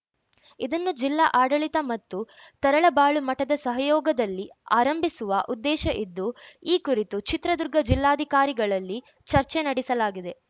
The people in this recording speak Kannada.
ಇದನ್ನು ಜಿಲ್ಲಾ ಆಡಳಿತ ಮತ್ತು ತರಳಬಾಳು ಮಠದ ಸಹಯೋಗದಲ್ಲಿ ಆರಂಭಿಸುವ ಉದ್ದೇಶ ಇದ್ದು ಈ ಕುರಿತು ಚಿತ್ರದುರ್ಗ ಜಿಲ್ಲಾಧಿಕಾರಿಗಳಲ್ಲಿ ಚರ್ಚೆ ನಡೆಸಲಾಗಿದೆ